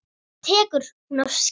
Svo tekur hún af skarið.